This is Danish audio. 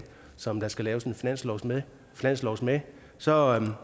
som der skal laves en finanslov med finanslov med så